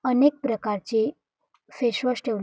अनेक प्रकारचे face wash ठेवून--